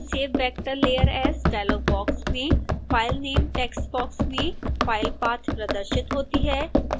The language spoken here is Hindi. save vector layer as dialogue box में file name टेक्स्ट बॉक्स में file path प्रदर्शित होती है